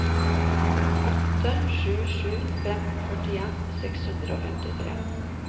åtte sju sju fem førtien seks hundre og femtitre